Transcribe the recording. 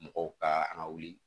Mɔgɔw ka an ka wuli